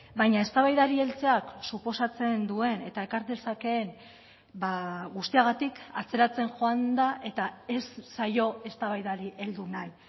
baina eztabaidari heltzeak suposatzen duen eta ekar dezakeen guztiagatik atzeratzen joan da eta ez zaio eztabaidari heldu nahi